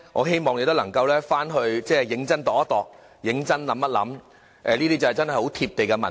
希望你能夠回去認真想想，這確是很貼地的民意。